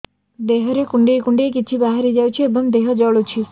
ଦେହରେ କୁଣ୍ଡେଇ କୁଣ୍ଡେଇ କିଛି ବାହାରି ଯାଉଛି ଏବଂ ଦେହ ଜଳୁଛି